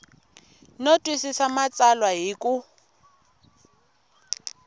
no twisisa matsalwa hi ku